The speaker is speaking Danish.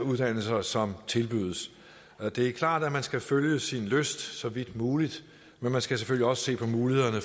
af uddannelser som tilbydes det er klart at man skal følge sin lyst så vidt muligt men man skal selvfølgelig også se på mulighederne